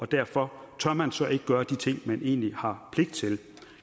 derfor tør man så ikke gøre de ting man egentlig har pligt til